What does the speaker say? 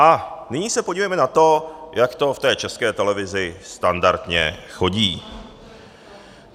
A nyní se podívejme na to, jak to v té České televizi standardně chodí.